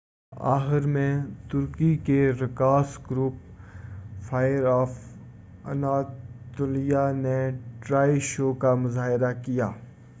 آخر میں ترکی کے رقاص گروپ فائر آف اناطولیہ نے ٹرائے شو کا مظاہرہ کیا